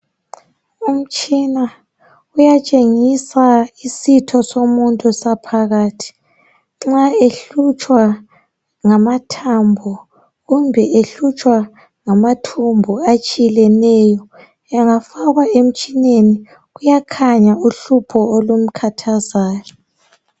Umtshina uyatshengisa isitho somuntu saphakathi. Nxa ehlutshwa ngamathambo kumbe ehlutshwa ngathumbu atshileneyo engafakwa emtshineni kuyakhanya uhlupho olumkhathazayo.